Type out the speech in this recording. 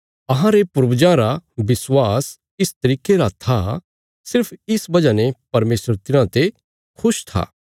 अहांरे पूर्वजां रा विश्वास इस तरिके रा था सिर्फ इस वजह ने परमेशर तिन्हांते खुश था